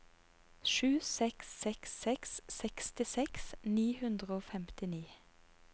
sju seks seks seks sekstiseks ni hundre og femtini